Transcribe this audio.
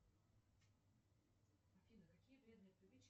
афина какие вредные привычки